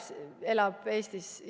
Kas ta elab Eestis?